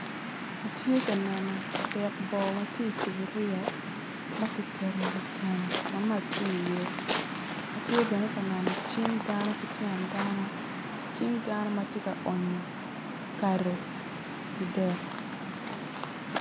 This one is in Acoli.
Atye ka neno dek boo man tye i cuboria ma kiketo i wi keno ma mac tye iye atye bebe ka neno cing dano ki tyen dano, cing dano ma tye ka onyo kado i dek.